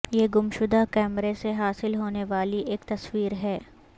یہ گمشدہ کیمرے سے حاصل ہونے والی ایک تصویر ہے